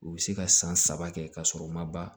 U bɛ se ka san saba kɛ ka sɔrɔ u ma ban